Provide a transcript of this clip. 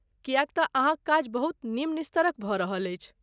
किएक तँ अहाँक काज बहुत निम्न स्तरक भऽ रहल अछि।